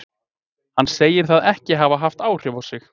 Hann segir það ekki hafa haft áhrif á sig.